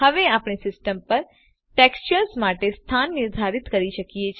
હવે આપણે સિસ્ટમ પર ટેક્સચર્સ માટે સ્થાન નિર્ધારિત કરી શકીએ છે